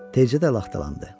Tezcə də laxtalandı.